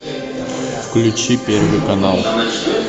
включи первый канал